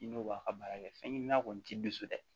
I n'o b'a ka baara kɛ fɛn ɲɛnama kɔni ti so dɛ